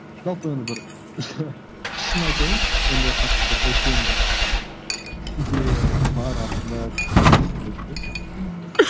жалпы енді бір шын айтайын ондай қатты бір үлкен бір идеясы бар артында деп ешқандай айтпаймын мхм